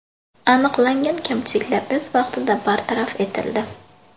Aniqlangan kamchiliklar o‘z vaqtida bartaraf etildi.